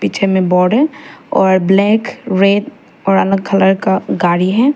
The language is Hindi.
पीछे में है और ब्लैक रेड और अन्य कलर का गाड़ी है।